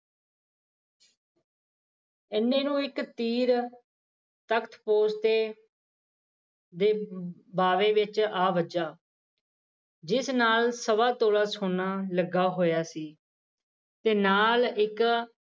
ਇੰਨੇ ਨੂੰ ਇੱਕ ਤੀਰ ਤਖਤ ਪੋਸ਼ ਤੇ ਬਾਵੇ ਵਿੱਚ ਆ ਵੱਜਿਆ ਜਿਸ ਨਾਲ ਸਵਾ ਤਿੰਨ ਸੋਨਾ ਲੱਗਿਆ ਹੋਇਆ ਸੀ ਤੇ ਨਾਲ ਇੱਕ